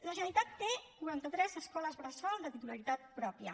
la generalitat té quaranta tres escoles bressol de titularitat pròpia